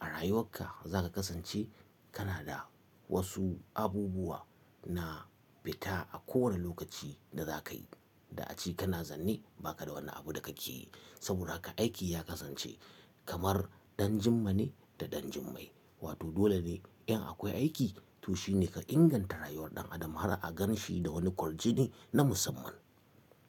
a rayuwarka za ka kasance kana da wasu abubuwa na fita a kowane lokaci da za ka yi. Da a ce kana zanne ba ka da wani abu da ka ke yi saboda haka aiki ya kasance kamar ɗan jimma ne da ɗan jimmai. Wato dole ne in akwai aiki to shi ne ka inganta rayuwar ɗan adam har a gan shi da wani kwarjink na musamman.